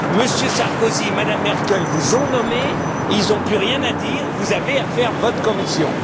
M. Sarkozy, M me Merkel vous ont nommé, ils n'ont plus rien à dire, vous avez à faire votre Commission!